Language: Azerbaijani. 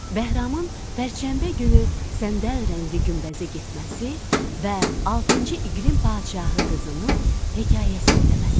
Bəhramın pərşənbə günü səndəl rəngli günbəzə getməsi və altıncı iqrim padşahı qızının hekayə söyləməsi.